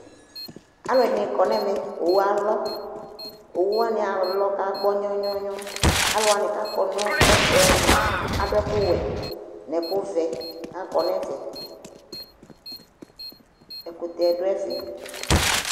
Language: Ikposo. Alʋɛdɩnɩ kɔ nʋ ɛmɛ Owu alɔ Owu wanɩ alɔ kʋ agbɔ nyɔwɔ-nyɔwɔ Alʋ wanɩ kʋ akɔ nʋ ɛfʋ yɛ mʋa, adʋ ɛkʋwɛ nʋ ɛkʋvɛ kʋ akɔ nʋ ɛfɛ Ɛkʋtɛ dʋ ɛfɛ